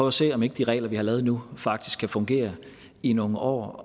at se om ikke de regler vi har lavet nu faktisk kan fungere i nogle år